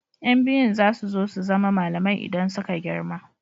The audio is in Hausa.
Yan biyun za su so su zama malamai idan suka girma.